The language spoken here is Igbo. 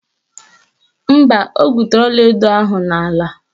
Mba, o gwutere ọlaedo ahụ n'ala.